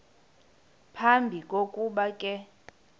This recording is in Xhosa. phambi kokuba ke